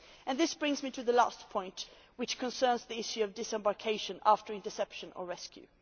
This brings me to the last point, which concerns the issue of disembarkation after interception or rescue.